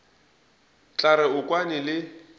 tla re o kwane le